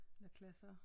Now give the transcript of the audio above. Klasser